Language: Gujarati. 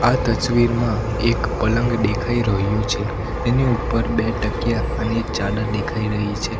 આ તસવીરમાં એક પલંગ દેખાઈ રહ્યું છે એની ઉપર બે ટકિયા અને ચાડર દેખાઈ રહી છે.